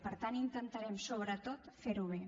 per tant intentarem sobretot fer ho bé